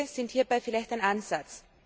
Kurze Wege sind hierbei vielleicht ein Ansatz.